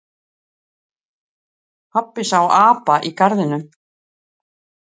Pabbi sá apa í garðinum.